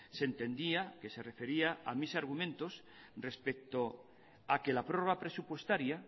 se entendía que se refería a mis argumentos respecto a que la prórroga presupuestaria